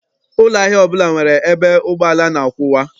Ụlọ ahịa ọbụla nwere ebe ụgbọala na-akwụwa.